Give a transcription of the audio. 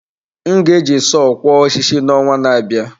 M ga-eji sọọ kwo osisi n’ọnwa na-abịa.